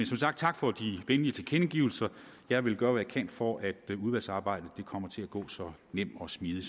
som sagt tak for de venlige tilkendegivelser jeg vil gøre hvad jeg kan for at udvalgsarbejdet kommer til at gå så nemt og smidigt